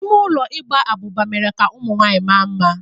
Ime ụlọ Ịgba abụba mere ka ụmụ nwanyị maa mma.